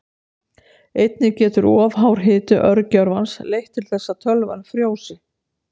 Einnig getur of hár hiti örgjörvans leitt til þess að tölvan frjósi.